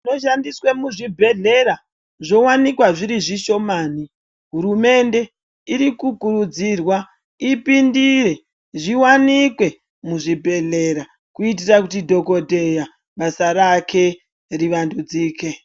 Zvinoshandiswa muzvibhedhlera zvowanikwa zviri zvishomani hurumende iri kukurudzirwa ipindire zviwanikwe zvibhedhlera kuitira kuti dhokodheya basa rake rivandudzike.